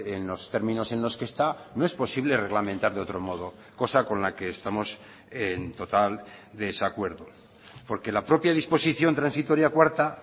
en los términos en los que está no es posible reglamentar de otro modo cosa con la que estamos en total desacuerdo porque la propia disposición transitoria cuarta